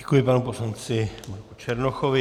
Děkuji panu poslanci Marku Černochovi.